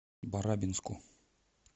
барабинску